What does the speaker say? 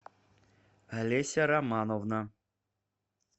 олеся романовна